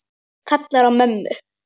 Kallar á mömmu.